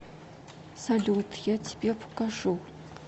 салют я тебе покажу